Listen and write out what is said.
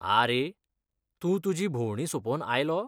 आ रे, तूं तुजी भोंवडी सोपोवन आयलो ?